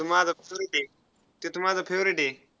तो माझा favourite आहे. ते तर माझा favourite आहे.